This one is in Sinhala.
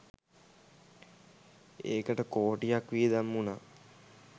ඒකට කෝටියක් වියදම් වුණා.